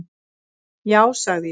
"""Já, sagði ég."""